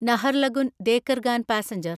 Naharlagun Dekargaon passenger